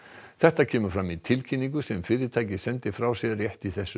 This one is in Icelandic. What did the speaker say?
þetta kemur fram í tilkynningu sem fyrirtækið sendi frá sér rétt í þessu